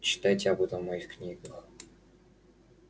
читайте об этом в моих книгах